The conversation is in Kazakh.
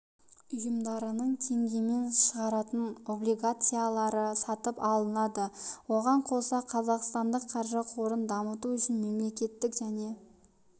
ұйымдарының теңгемен шығаратын облигациялары сатып алынады оған қоса қазақстандық қаржы қорын дамыту үшін мемлекеттік және